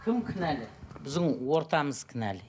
кім кінәлі біздің ортамыз кінәлі